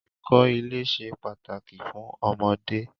Ẹ̀kọ́ ilé ṣe pàtàkì fún ọmọdé.